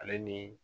Ale ni